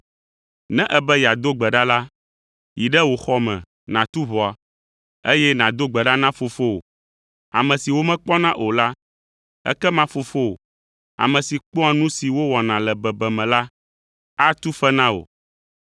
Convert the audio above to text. Ne èbe yeado gbe ɖa la, yi ɖe wò xɔ me nàtu ʋɔa, eye nàdo gbe ɖa na Fofowò, ame si womekpɔna o la, ekema Fofowò, ame si kpɔa nu si wowɔna le bebeme la, atu fe na wò.